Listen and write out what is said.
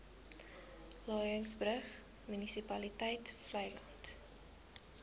laingsburg munisipaliteit vleiland